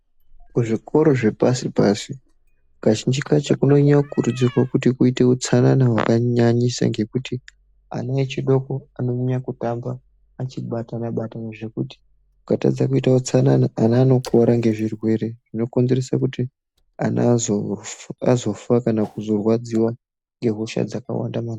Kuzvikora zvepashi pashi ,kazhinji kacho kunonyanye kukurudzirwa kuti uite utsanana wakanyanyisa ngekuti ana adoko anonyanye kutamba eibatana batana zvekuti ukatadza kuita utsanana ana anokuvara ngezvirwere zvinozoite kuti azofa kana kurwadziwa maningi.